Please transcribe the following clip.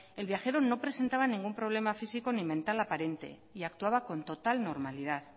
el viajero no presentaba ningún problema físico ni mental aparente y actuaba con total normalidad